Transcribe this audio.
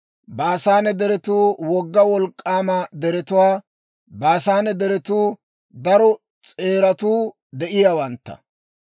Baasaane deretuu wogga wolk'k'aama deretuwaa; baasaane deretuu daro s'eeratuu de'iyaawantta.